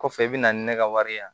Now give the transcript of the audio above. Kɔfɛ i bɛ na ni ne ka wari ye